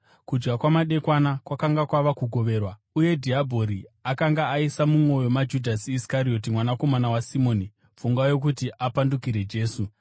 Kudya kwamadekwana kwakanga kwava kugoverwa, uye dhiabhori akanga aisa mumwoyo maJudhasi Iskarioti, mwanakomana waSimoni, pfungwa yokuti apandukire Jesu.